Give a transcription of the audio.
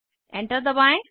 enter दबाएं